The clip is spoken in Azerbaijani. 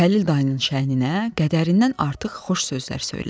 Xəlil dayının şəhninə qədərindən artıq xoş sözlər söylənilir.